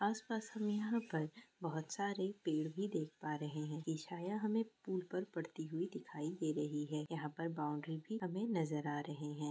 आस-पास हमें यहाँ पर बहुत सारे पेड़ भी देख पा रहे हैं। ये छाया हमें पुल पर पड़ती हुई दिखाई दे रही है। यहाँ पर बॉउंड्री भी हमें नजर आ रहे हैं।